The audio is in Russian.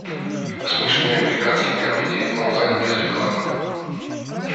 смешные американские комедии онлайн без рекламы